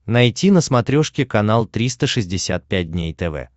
найти на смотрешке канал триста шестьдесят пять дней тв